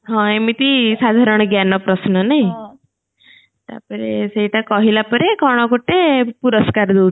ହଁ ଏମିତି ସାଧାରଣ ଜ୍ଞାନ ପ୍ରଶ୍ନ ନାଇଁ ତା ପରେ ସେଇଟା କହିଲା ପରେ କଣ ଗୋଟେ ପୁରସ୍କାର ଦଉଥିଲେ